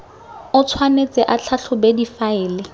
o tshwanetse a tlhatlhobe difaele